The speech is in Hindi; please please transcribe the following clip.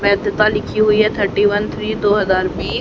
वैधता लिखी हुई है थर्टी वन थ्री दो हजार बी--